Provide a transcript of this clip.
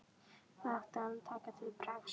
Hvað átti hann að taka til bragðs?